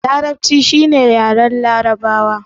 Larabci shi ne yaren larabawa